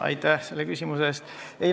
Aitäh selle küsimuse eest!